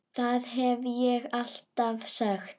Það hef ég alltaf sagt.